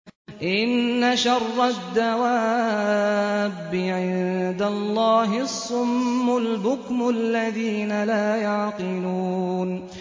۞ إِنَّ شَرَّ الدَّوَابِّ عِندَ اللَّهِ الصُّمُّ الْبُكْمُ الَّذِينَ لَا يَعْقِلُونَ